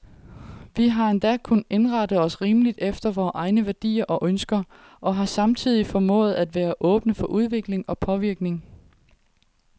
Vi har endda kunnet indrette os rimeligt efter vore egne værdier og ønsker, og har samtidig formået at være åbne for udvikling og påvirkning.